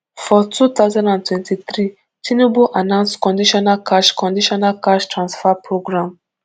for two thousand and twenty-threetinubu announceone conditional cash conditional cash transfer programme